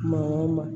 Maa o maa